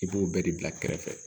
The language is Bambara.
I b'o bɛɛ de bila kɛrɛfɛ